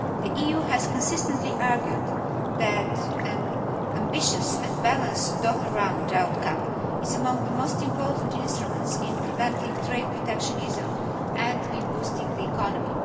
The EU has consistently argued that an ambitious and balanced Doha Round outcome is among the most important instruments in preventing trade protectionism and in boosting the economy.